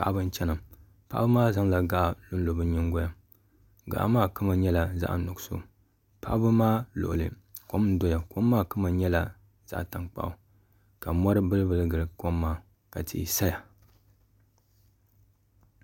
paɣ' ba n chɛna paɣ' maa zaŋ la gaɣili lo be nyini golini gaɣ'maa kama nyɛla zaɣ piɛli paɣ' ba maa luɣili kom n doya di kama nyɛla zaɣ tankpagu ka mori bɛli gili kom maa ka tihi saya